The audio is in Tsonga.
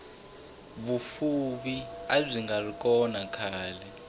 vufuvi abyingari kona khale